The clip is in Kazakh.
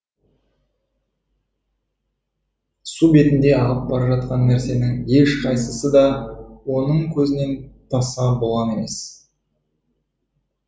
су бетінде ағып бара жатқан нәрсенің ешқайсысы да оның көзінен таса болған емес